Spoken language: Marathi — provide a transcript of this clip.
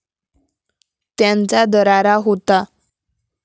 त्यांचा दरारा होता.